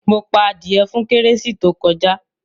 Mo pa adìyẹ fún kérésì tó kọjá.